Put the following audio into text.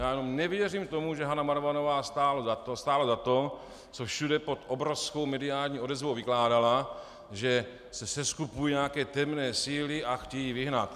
Já jenom nevěřím tomu, že Hana Marvanová stála za to, co všude pod obrovskou mediální odezvou vykládala, že se seskupují nějaké temné síly a chtějí ji vyhnat.